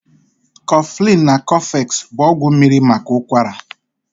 Koflin na Kofex bụ ọgwụ mmiri maka ụkwara